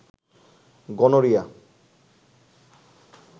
gonorrhoea